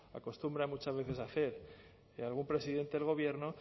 acostumbra muchas veces a hacer algún presidente del gobierno